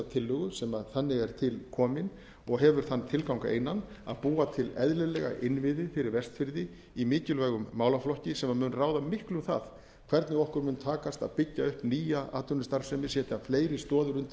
tillögu sem þannig er til komin og hefur þann tilgang einan að búa til eðlilega innviði fyrir vestfirði í mikilvægum málaflokki sem mun ráða miklu um það hvernig okkur mun takast að byggja upp nýja atvinnustarfsemi setja fleiri stoðir undir